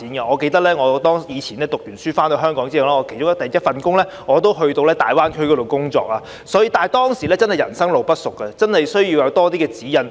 我記得我以前唸完書回港後的首份工作是前往大灣區工作，當時真的是人生路不熟，真的需要有多些指引。